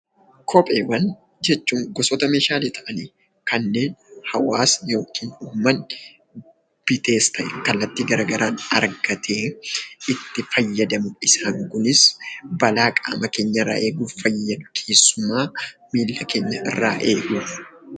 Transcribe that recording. Kopheewwan jechuun gosoota meeshaalee ta'anii kanneen hawwaasni yookiin uummanni bitees ta'ee kallattii gara garaan argatee itti fayyadamu kunis balaa qaama keenya irraa eeguuf fayyadu, keessumaa miilla keenya irraa eeguuf.